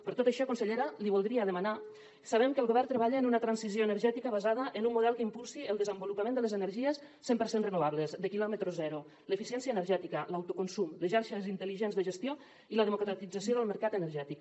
per tot això consellera li voldria demanar sabem que el govern treballa en una transició energètica basada en un model que impulsi el desenvolupament de les energies cent per cent renovables de quilòmetre zero l’eficiència energètica l’autoconsum les xarxes intel·ligents de gestió i la democratització del mercat energètic